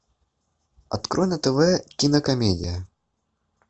открой на тв кинокомедия